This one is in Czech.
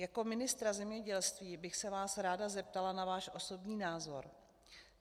Jako ministra zemědělství bych se vás ráda zeptala na váš osobní názor.